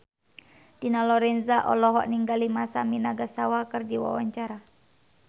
Dina Lorenza olohok ningali Masami Nagasawa keur diwawancara